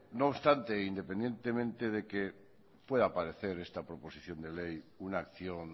no obstante independientemente de que pueda parecer esta proposición de ley una acción